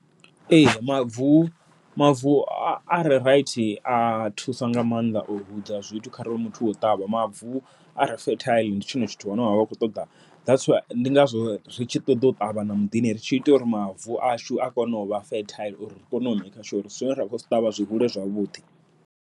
Ee mavu mavu are raithi a thusa nga maanḓa, u hudza zwithu kharali muthu o ṱavha mavu are fethaiḽi ndi tshone tshithu tshine vha vha kho ṱoda. Ndi ngazwo ri tshi ṱoḓa u ṱavha na muḓini, ri tshi ita uri mavu ashu a kone u vha fethaiḽi ri kone u maker sure zwine ra khou zwi ṱavha zwi hule zwavhuḓi.